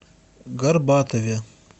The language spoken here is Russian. горбатове